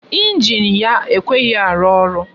Ịnjin ya ekweghi ịrụ ọrụ